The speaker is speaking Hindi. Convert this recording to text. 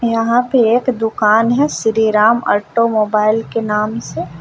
यहां पे एक दुकान है श्रीराम ऑटोमोबाइल के नाम से।